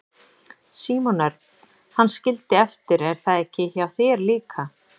Símon Örn: Hann skildi eftir er það ekki hjá þér líka?